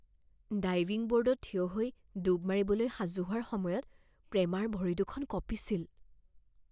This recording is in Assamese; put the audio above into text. ডাইভিং ব'ৰ্ডত থিয় হৈ ডুব মাৰিবলৈ সাজু হোৱাৰ সময়ত প্ৰেমাৰ ভৰি দুখন কঁপিছিল